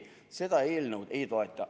Seda eelnõu ma ei toeta.